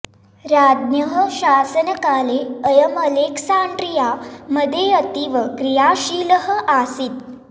राञः शासनकाले अयं अलेक्सान्ड्रिया मध्ये अतीव क्रियाशीलः आसीत्